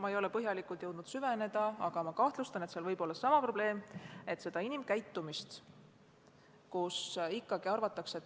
Ma ei ole küll põhjalikult jõudnud süveneda, aga kahtlustan, et seal võib olla seesama probleem, et inimkäitumist ei arvestata.